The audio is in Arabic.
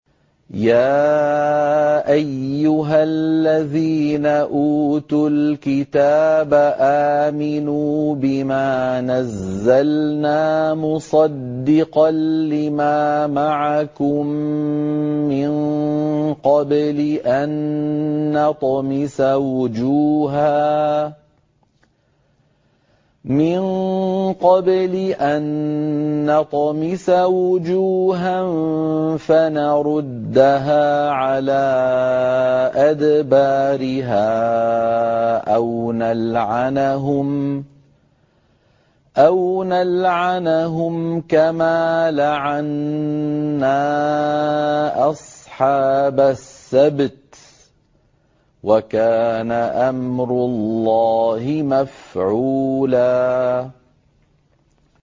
يَا أَيُّهَا الَّذِينَ أُوتُوا الْكِتَابَ آمِنُوا بِمَا نَزَّلْنَا مُصَدِّقًا لِّمَا مَعَكُم مِّن قَبْلِ أَن نَّطْمِسَ وُجُوهًا فَنَرُدَّهَا عَلَىٰ أَدْبَارِهَا أَوْ نَلْعَنَهُمْ كَمَا لَعَنَّا أَصْحَابَ السَّبْتِ ۚ وَكَانَ أَمْرُ اللَّهِ مَفْعُولًا